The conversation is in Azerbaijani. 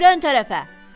İt hürən tərəfə.